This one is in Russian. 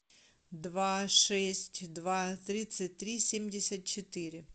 два шесть два тридцать три семьдесят четыре